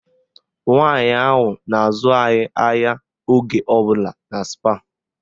Nwaanyị ahụ na-azụ anyị ahịa oge ọbụla na Spáà